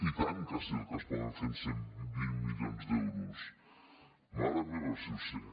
i tant que sé el que es pot fer amb cent i vint milions d’euros mare meva si ho sé